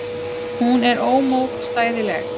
Hún er ómótstæðileg.